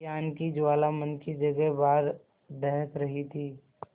ज्ञान की ज्वाला मन की जगह बाहर दहक रही थी